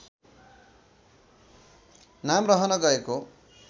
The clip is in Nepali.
नाम रहन गएको